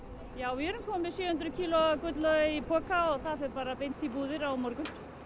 já við erum komin með sjö hundruð kíló af gullauga í poka og það fer bara beint í búðir á morgun